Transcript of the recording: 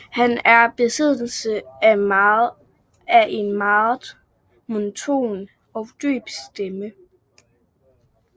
Han er i besiddelse af en meget monoton og dyb stemme